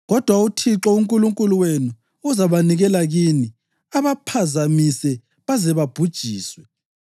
Kodwa uThixo uNkulunkulu wenu uzabanikela kini, abaphazamise baze babhujiswe.